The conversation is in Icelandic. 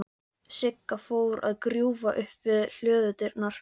Sigga fór að grúfa upp við hlöðudyrnar.